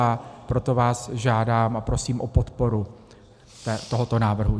A proto vás žádám a prosím o podporu tohoto návrhu.